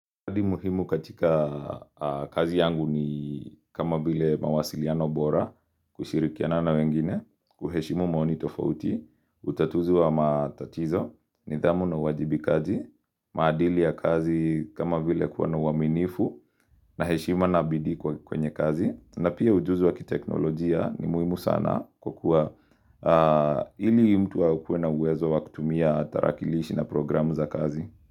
Mwadi muhimu katika kazi yangu ni kama bile mawasiliano bora kushirikiana na wengine, kuheshimu maonitofauti, utatuzu wa matatizo, nidhamu na uwajibikaji, maadili ya kazi kama bile kuwa na uwaminifu, na heshima na bidii kwenye kazi, na pia ujuzi wa kiteknolojia ni muhimu sana kwa kuwa ili mtu akuwe na uwezo wa kutumia tarakilishi na programu za kazi.